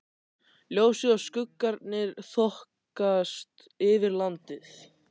Ljósið og skuggarnir þokast yfir landið.